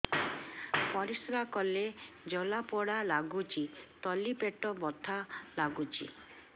ପରିଶ୍ରା କଲେ ଜଳା ପୋଡା ଲାଗୁଚି ତଳି ପେଟ ବଥା ଲାଗୁଛି